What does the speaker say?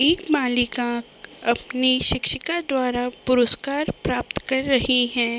एक मालीका अपनी शिक्षिका द्वारा पुरुस्कार प्राप्त कर रही हैं।